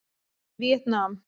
Víetnam